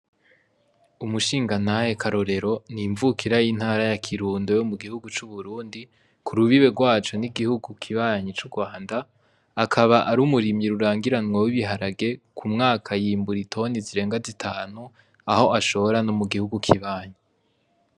Umushingantahe Karorero ni imvukira y'intara ya Kirundo yo mu gihugu c'uburundi. Ku rubibe rwaco ni igihugu kibanyi c'urwanda, akaba ari umurimyi rurangiranwa w'ibiharage, ku mwaka yimbura itoni zirenga zitanu, aho ashora no mu gihugu kibanyi.